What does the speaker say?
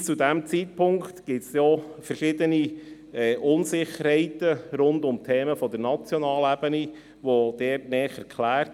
Bis zu diesem Zeitpunkt sind denn auch verschiedene Unsicherheiten rund um Themen auf nationaler Ebene näher geklärt.